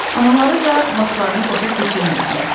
Anaları da vaxtlarını boşa keçirmirdilər.